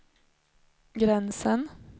gränsen